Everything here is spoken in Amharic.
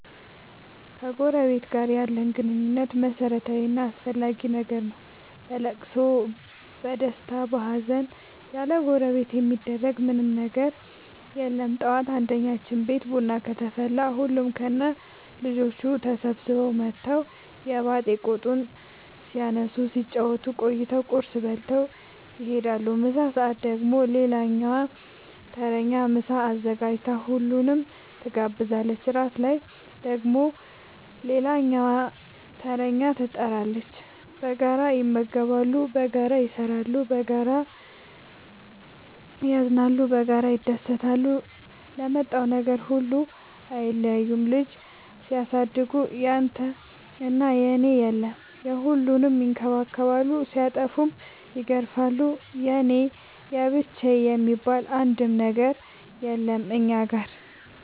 ከጎረበት ጋር ያለን ግንኙነት መረታዊ እና አስፈላጊ ነገር ነው። በለቅሶ በደስታ በሀዘን ያለጎረቤት የሚደረግ ምን ምንም ነገር የለም ጠዋት አንድኛችን ቤት ቡና ከተፈላ ሁሉም ከነ ልጆቹ ተሰብስበው መተው የባጥ የቆጡን ሲያነሱ ሲጫወቱ ቆይተው ቁርስ በልተው ይሄዳሉ። ምሳ ሰአት ደግሞ ሌላኛዋ ተረኛ ምሳ አዘጋጅታ ሁሉንም ትጋብዛለች። እራት ላይ ደግሞ ሌላኛዋተረኛ ትጣራለች። በጋራ ይመገባሉ በጋራ ይሰራሉ። በጋራ ያዝናሉ በጋራ ይደሰታሉ ለመጣው ነገር ሁሉ አይለያዩም ልጅ ሲያሳድጉ ያንተና የኔ የለም የሁሉንም ይከባከባሉ ሲጠፉም ይገርፋሉ የኔ የብቻዬ የሚባል አንድም ነገር የለም እኛ ጋር።